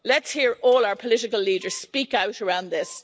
Let's hear all our political leaders speak out around this.